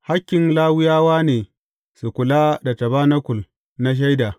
Hakkin Lawiyawa ne su kula da tabanakul na Shaida.